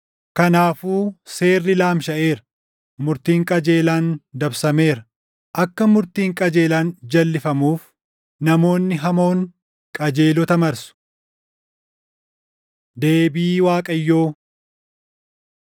Kanaafuu seerri laamshaʼeera; murtiin qajeelaan dabsameera. Akka murtiin qajeelaan jalʼifamuuf; namoonni hamoon qajeelota marsu. Deebii Waaqayyoo